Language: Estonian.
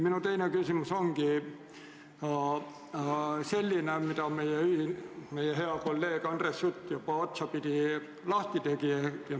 Minu teine küsimus on teemal, mille meie hea kolleeg Andres Sutt juba otsapidi lahti tegi.